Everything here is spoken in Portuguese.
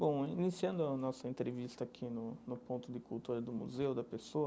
Bom, iniciando a nossa entrevista aqui no no ponto de cultura do museu da pessoa,